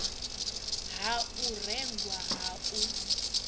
ha u rengwa ha u